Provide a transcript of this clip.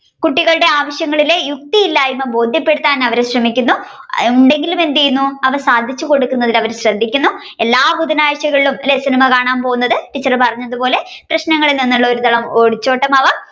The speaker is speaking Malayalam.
കുട്ടികളുടെ ആവശ്യങ്ങളുടെ യുക്തിയില്ലായ്മ്മ ബോധ്യപ്പെടുത്താൻ അവർ ശ്രമിക്കുന്നു ഉം അവർ സാധിച്ചുകൊടുക്കുന്നതിൽ അവർ ശ്രദ്ധിക്കുന്നു എല്ലാ ബുധനാഴ്ചകളിലും അല്ലെ സിനിമ കാണാൻ പോകുന്നത് ടീച്ചർ പറഞ്ഞതുപോലെ പ്രശ്നങ്ങളിൽ നിന്നുള്ള ഒരു തരം ഒളിചോട്ടമാവാം.